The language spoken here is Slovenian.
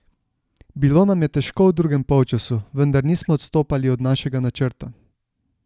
Bilo nam je težko v drugem polčasu, vendar nismo odstopali od našega načrta.